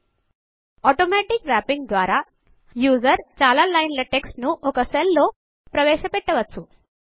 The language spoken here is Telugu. ఆటోమాటిక్ వ్రాపింగ్ ఆటో వ్ర్యప్పింగ్ ద్వారా యూజర్ చాలా లైన్ల టెక్స్ట్ ను ఒక సెల్ లోకి ప్రవేశ పెట్టవచ్చు